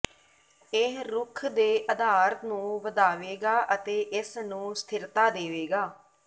ਇਹ ਰੁੱਖ ਦੇ ਅਧਾਰ ਨੂੰ ਵਧਾਵੇਗਾ ਅਤੇ ਇਸ ਨੂੰ ਸਥਿਰਤਾ ਦੇਵੇਗਾ